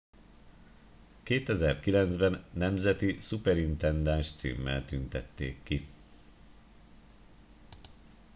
2009 ben nemzeti szuperintendáns címmel tüntették ki